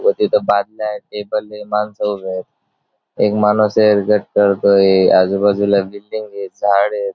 व तिथे बादल्या आहेत टेबल आहे माणसं उभे आहेत एक माणूस करतोय आहे आजूबाजूला बिल्डिंग आहेत झाड आहेत.